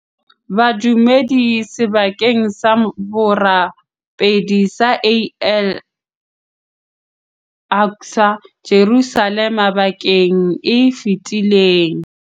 badumedi sebakeng sa borapedi sa Al Aqsa, Jerusalema bekeng e fetileng.